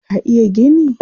Ka iya gini?